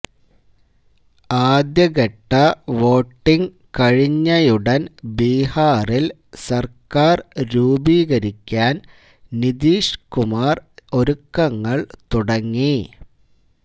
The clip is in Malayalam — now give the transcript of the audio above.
ആദ്യഘട്ട വോട്ടിങ് കഴിഞ്ഞയുടന് ബീഹാറില് സര്ക്കാര് രൂപീകരിക്കാന് നിതീഷ് കുമാര് ഒരുക്കങ്ങള് തുടങ്ങി